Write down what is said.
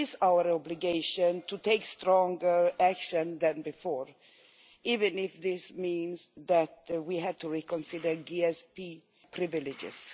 It is our obligation to take stronger action than before, even if this meant that we would have to reconsider GSP privileges.